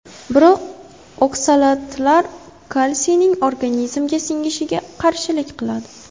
Biroq oksalatlar kalsiyni organizmga singishiga qarshilik qiladi.